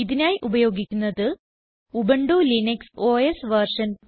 ഇതിനായി ഉപയോഗിക്കുന്നത് Ubuntu Linux OS version